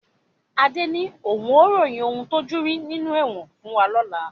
Adé ni òun ó ròyìn ń tojú rí nínú ẹ̀wọ̀n fún wa lọ́la